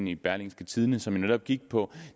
i berlingske tidende som jo netop gik på